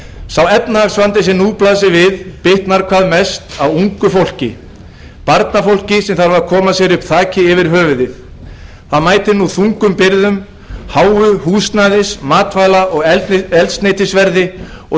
sá efnahagsvandi sem nú blasir við bitnar hvað mest á ungu fólki barnafólki sem þarf að koma sér upp þaki yfir höfuðið því mætir nú þungum byrðum háu húsnæðis matvæla og eldsneytisverði og